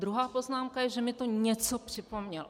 Druhá poznámka je, že mi to něco připomnělo.